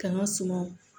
K'an ka sumaw